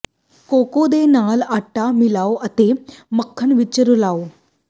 cocoa ਦੇ ਨਾਲ ਆਟਾ ਮਿਲਾਓ ਅਤੇ ਮੱਖਣ ਵਿੱਚ ਰਲਾਉ